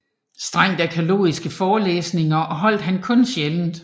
Strengt arkæologiske forelæsninger holdt han kun sjældent